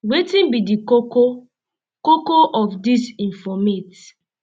wetin be di koko um koko um of dis informate